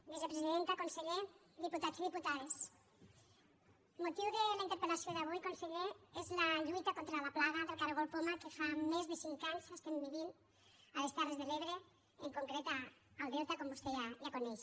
vicepresidenta conseller diputats i diputades el motiu de la interpel·conseller és la lluita contra la plaga del caragol poma que fa més de cinc anys estem vivint a les terres de l’ebre en concret al delta com vostè ja coneix